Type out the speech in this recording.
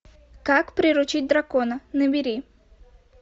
как приручить дракона набери